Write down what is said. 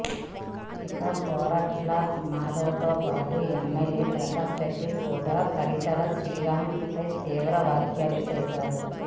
ఇక గోరంట్ల మాధవ్ తో పాటు ఎమ్మెల్యే ప్రకాష్ రెడ్డి కూడా పరిటాల శ్రీరామ్ పై తీవ్ర వ్యాఖ్యలు చేశారు